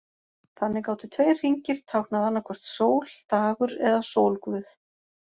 Þannig gátu tveir hringir táknað annaðhvort sól, dagur eða sólguð.